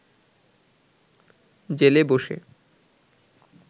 জেলে বসে